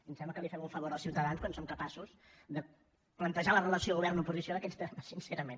em sembla que fem un favor als ciutadans quan som capaços de plantejar la relació govern oposició en aquests termes sincerament